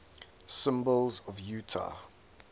symbols of utah